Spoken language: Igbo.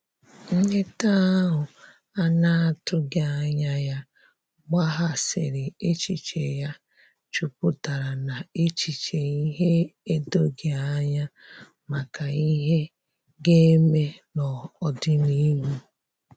Nleta ahu ana atughi anya ya gbaghasiri echiche ya juputara na echiche ihe edoghi anya maka ihe ga-eme n'odịnihu